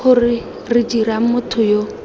gore re dirang motho yo